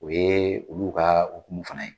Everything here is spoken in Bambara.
O ye olu ka ukumu fana ye.